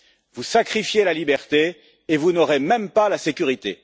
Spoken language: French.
Vous sacrifiez la liberté et vous n'aurez même pas la sécurité.